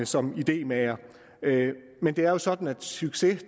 som idémagere men det er jo sådan at en succes